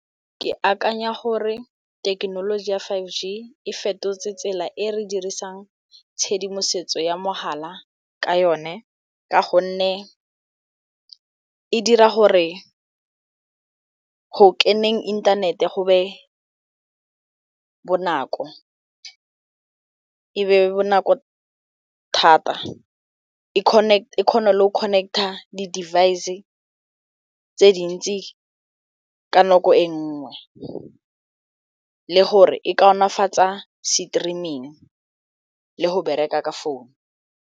Ke akanya gore thekenoloji ya five G e fetotse tsela e re dirisang tshedimosetso ya mogala ka yone ka gonne e dira gore go keneng inthanete go be bonako, e be bonako thata e kgone le go connect-a di-device tse dintsi ka nako e nngwe le gore e kaonafatsa streaming le go bereka ka phone.